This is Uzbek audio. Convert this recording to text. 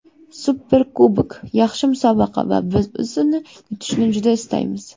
Superkubok yaxshi musobaqa va biz uni yutishni juda istaymiz.